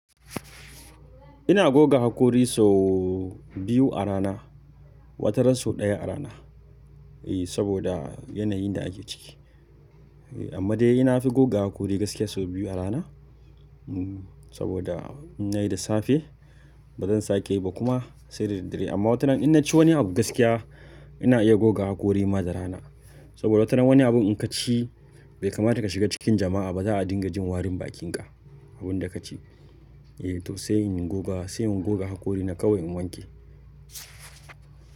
Ina goga hakori sau biyu a rana, wataran sau ɗaya a rana. Eh saboda yanayin da ake ciki. Amma dai na fi goga hakori gaskiya sau biyu a rana, saboda in nayi da safe bazan sake yi ba kuma sai da daddare. Amma watanan in naci wani abu gaskiya ina iya goga hakori ma da rana. Saboda watanan wani abun in kaci bai kamata ka shiga cikin jama'a ba za a dinga jin warin bakinka, abun da ka ci. Eh to sai in goga, sai in goga hakori na kawai in wanke.